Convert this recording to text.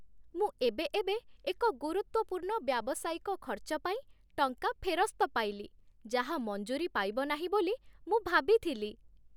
ମୁଁ ଏବେଏବେ ଏକ ଗୁରୁତ୍ୱପୂର୍ଣ୍ଣ ବ୍ୟାବସାୟିକ ଖର୍ଚ୍ଚ ପାଇଁ ଟଙ୍କା ଫେରସ୍ତ ପାଇଲି, ଯାହା ମଞ୍ଜୁରି ପାଇବ ନାହିଁ ବୋଲି ମୁଁ ଭାବିଥିଲି।